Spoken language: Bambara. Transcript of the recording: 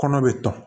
Kɔnɔ bɛ ta